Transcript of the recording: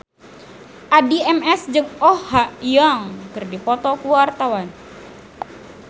Addie MS jeung Oh Ha Young keur dipoto ku wartawan